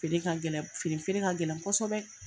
Feere ka gɛlɛn fini feere ka gɛlɛn kosɛbɛ.